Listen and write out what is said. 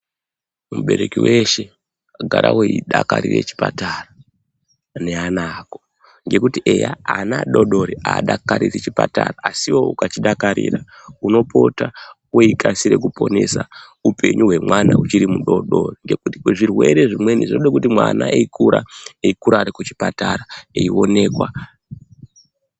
Mubereki weshe gara weidakarire chipatara ngeana ako ngekuti eya ana adoodori adakariri chipatara asi iwewe uka chidakarira unopota weikasire kuponesa upengu wemwana uchiri mudoodori ngekuti zvirwere zvinweni zvinode kuti mwana eikura, eikura ari kuchipatara eionekwa.